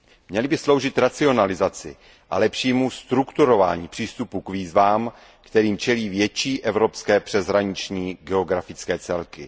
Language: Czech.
Měly by sloužit racionalizaci a lepšímu strukturování přístupu k výzvám, kterým čelí větší evropské přeshraniční geografické celky.